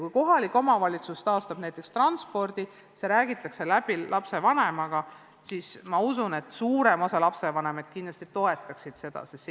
Kui kohalik omavalitsus taastab näiteks transpordi ja see räägitakse läbi lapsevanemaga, siis ma usun, et suurem osa lapsevanemaid toetaks kohalikku korraldust.